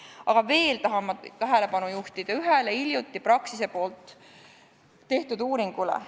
Aga veel tahan ma tähelepanu juhtida ühele hiljuti Praxise poolt tehtud uuringule.